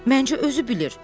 Məncə özü bilir.